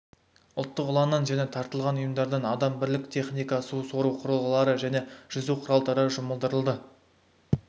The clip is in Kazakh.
ұлттық ұланнан және тартылған ұйымдардан адам бірлік техника су сору құрылғылары және жүзу құралдары жұмылдырылды